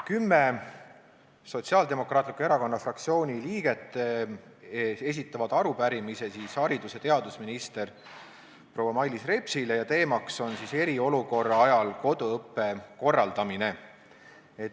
Kümme Sotsiaaldemokraatliku Erakonna fraktsiooni liiget esitavad arupärimise haridus- ja teadusminister proua Mailis Repsile ning teemaks on eriolukorra ajal koduõppe korraldamine.